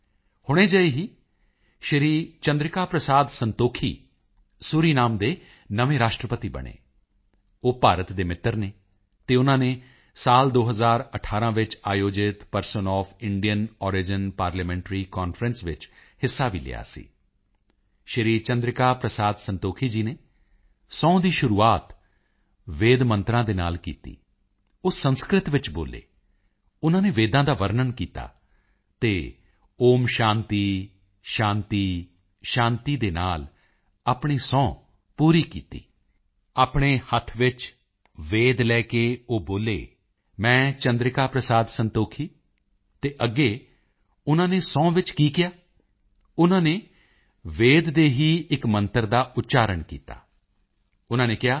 ਹੁਣੇ ਜਿਹੇ ਹੀ ਸ਼੍ਰੀ ਚੰਦਰਿਕਾ ਪ੍ਰਸਾਦ ਸੰਤੋਖੀ ਸੂਰੀਨਾਮ ਦੇ ਨਵੇਂ ਰਾਸ਼ਟਰਪਤੀ ਬਣੇ ਉਹ ਭਾਰਤ ਦੇ ਮਿੱਤਰ ਹਨ ਅਤੇ ਉਨ੍ਹਾਂ ਨੇ ਸਾਲ 2018 ਵਿੱਚ ਆਯੋਜਿਤ person of Indian origin PIO parliamentary conference ਵਿੱਚ ਵੀ ਹਿੱਸਾ ਲਿਆ ਸੀ ਸ਼੍ਰੀ ਚੰਦਰਿਕਾ ਪ੍ਰਸਾਦ ਸੰਤੋਖੀ ਜੀ ਨੇ ਸਹੁੰ ਦੀ ਸ਼ੁਰੂਆਤ ਵੇਦ ਮੰਤਰਾਂ ਦੇ ਨਾਲ ਕੀਤੀ ਉਹ ਸੰਸਿਤ ਵਿੱਚ ਬੋਲੇ ਉਨ੍ਹਾਂ ਨੇ ਵੇਦਾਂ ਦਾ ਵਰਨਣ ਕੀਤਾ ਅਤੇ ਓਮ ਸ਼ਾਂਤੀ ਸ਼ਾਂਤੀ ਸ਼ਾਂਤੀ ਦੇ ਨਾਲ ਆਪਣੀ ਸਹੁੰ ਪੂਰੀ ਕੀਤੀ ਆਪਣੇ ਹੱਥ ਵਿੱਚ ਵੇਦ ਲੈ ਕੇ ਉਹ ਬੋਲੇ ਮੈਂ ਚੰਦਰਿਕਾ ਪ੍ਰਸਾਦ ਸੰਤੋਖੀ ਅਤੇ ਅੱਗੇ ਉਨ੍ਹਾਂ ਨੇ ਸਹੁੰ ਵਿੱਚ ਕੀ ਕਿਹਾ ਉਨ੍ਹਾਂ ਨੇ ਵੇਦ ਦੇ ਹੀ ਇਕ ਮੰਤਰ ਦਾ ਉਚਾਰਣ ਕੀਤਾ ਉਨ੍ਹਾਂ ਨੇ ਕਿਹਾ